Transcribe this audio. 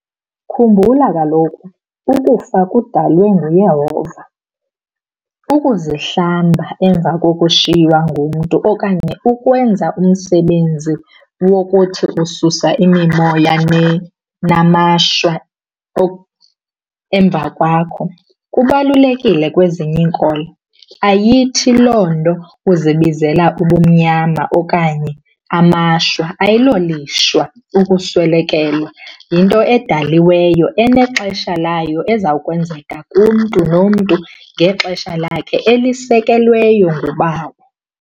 Khumbula kaloku ukufa kudalwe nguYehova. Ukuzihlamba emva kokushiywa ngumntu okanye ukwenza umsebenzi wokuthi ususa imimoya namashwa emva kwakho kubalulekile kwezinye iinkolo, ayithi loo nto uzibizela ubumnyama okanye amashwa. Ayilolishwa ukuswelekelwa, yinto edaliweyo enexesha layo ezawukwenzeka kumntu nomntu ngexesha lakhe elisekelweyo nguBawo.